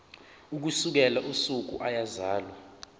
ukusukela usuku eyazalwa